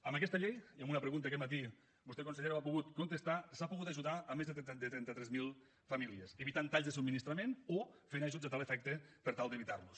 amb aquesta llei i amb una pregunta aquest matí vostè consellera ho ha pogut contestar s’ha pogut ajudar a més de trenta tres mil famílies evitant talls de subministrament o fent ajuts a tal efecte per tal d’evitarlos